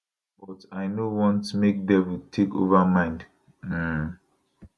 but i no want make devil take over mind um